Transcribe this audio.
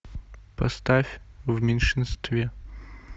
поставь в меньшинстве